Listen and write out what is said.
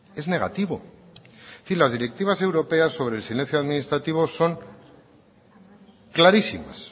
es negativo es decir las directivas europeas sobre el silencio administrativo son clarísimas